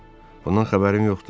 Bundan xəbərim yoxdur.